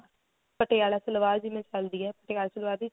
ਪਟਿਆਲਾ ਸਲਵਾਰ ਜਿਵੇਂ ਚੱਲਦੀ ਏ ਪਟਿਆਲਾ ਸਲਵਾਰ ਦੀ ਚੋੜੀ